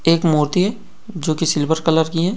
एक मूर्ति है जो की सिल्वर कलर की हैं।